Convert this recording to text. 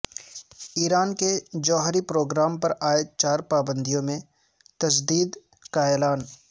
ایران کے جوہری پروگرام پر عائد چار پابندیوں میں تجدید کا اعلان